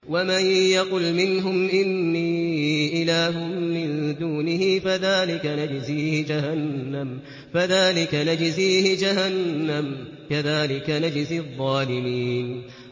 ۞ وَمَن يَقُلْ مِنْهُمْ إِنِّي إِلَٰهٌ مِّن دُونِهِ فَذَٰلِكَ نَجْزِيهِ جَهَنَّمَ ۚ كَذَٰلِكَ نَجْزِي الظَّالِمِينَ